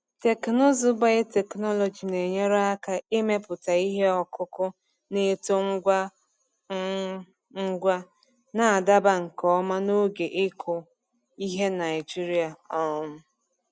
Teknụzụ biotechnology na-enyere aka imepụta ihe ọkụkụ na-eto ngwa um ngwa, na-adaba nke ọma na oge ịkụ ihe Naijiria. um